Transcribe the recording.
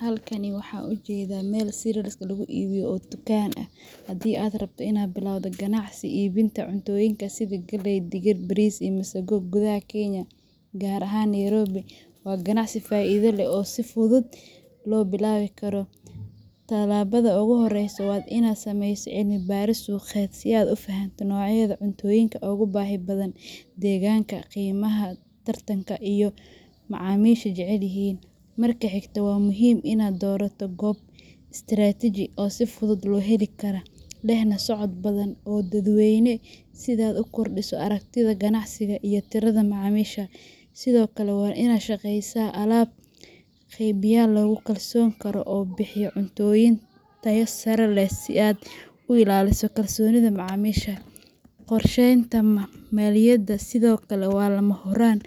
Halkan waxan ujedaa mel cerealska laguibiyo oo dukan ah. Haddii aad rabto inaad bilowdo ganacsi iibinta cuntooyinka sida galley, digir, bariis, iyo masago gudaha Kenya, gaar ahaan Nairobi, waa ganacsi faa’iido leh oo si fudud loo bilaabi karo. Talaabada ugu horreysa waa inaad sameyso cilmi baaris suuqeed si aad u fahamto noocyada cuntooyinka ugu baahida badan deegaankaaga, qiimaha tartanka, iyo waxa macaamiishu jecel yihiin. Marka xigta, waa muhiim inaad doorato goob istiraatiiji ah oo si fudud loo heli karo, lehna socod badan oo dadweyne, si aad u kordhiso aragtida ganacsigaaga iyo tirada macaamiisha. Sidoo kale, waa inaad la shaqeysaa alaab qeybiyeyaal lagu kalsoonaan karo oo bixiya cuntooyin tayo sare leh si aad u ilaaliso kalsoonida macaamiisha. Qorshaynta maaliyaddaada sidoo kale waa lama huraan.